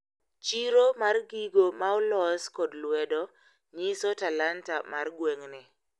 Chiro mar gigo maolos kod lwedo nyiso talanta mar gweng`ni.